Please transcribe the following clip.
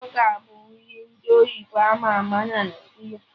Bọga bụ nri ndị oyibo ama ama na Naijiria